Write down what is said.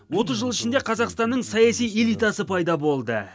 отыз жыл ішінде қазақстанның саяси элитасы пайда болды